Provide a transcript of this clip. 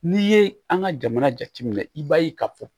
N'i ye an ka jamana jateminɛ i b'a ye ka fɔ